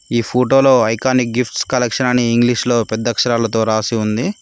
ఈ ఫోటోలో iconic gifts collection అని ఇంగ్లీష్ లో పెద్ద అక్షరాలతో రాసి ఉంది.